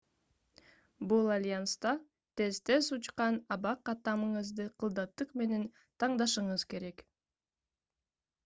бул альянста тез-тез учкан аба каттамыңызды кылдаттык менен тандашыңыз керек